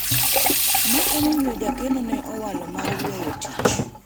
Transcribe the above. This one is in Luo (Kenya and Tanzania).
ema omiyo jakeno ne owalo mar weyo tich